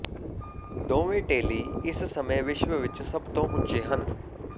ਦੋਵੇਂ ਟੇਲੀ ਇਸ ਸਮੇਂ ਵਿਸ਼ਵ ਵਿੱਚ ਸਭ ਤੋਂ ਉੱਚੇ ਹਨ